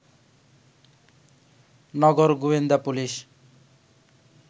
নগর গোয়েন্দা পুলিশ